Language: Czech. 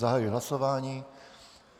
Zahajuji hlasování.